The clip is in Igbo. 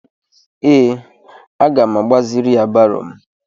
Ee, aga m agbaziri ya baro m.